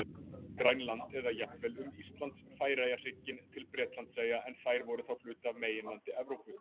Grænland eða jafnvel um Íslands-Færeyja-hrygginn til Bretlandseyja en þær voru þá hluti af meginlandi Evrópu.